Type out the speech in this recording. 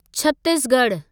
छत्तीसगढ़ु